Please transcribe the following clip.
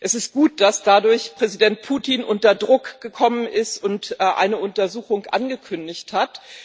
Es ist gut, dass Präsident Putin dadurch unter Druck gekommen ist und eine Untersuchung angekündigt hat.